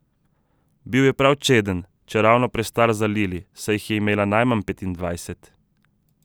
Bil je prav čeden, čeravno prestar za Lili, saj jih je imel najmanj petindvajset.